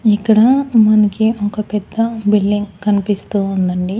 ఇక్కడ మనకి ఒక పెద్ద బిల్డింగ్ కన్పిస్తూ ఉండండి.